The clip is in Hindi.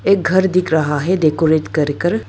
एक घर दिख रहा है डेकोरेट कर कर।